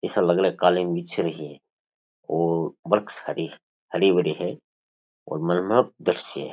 इस अलग अलग कालीन बिछ रही है और वृक्ष हरे भरे हैं और मनमोहक दर्शय है।